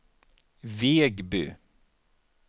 Vegby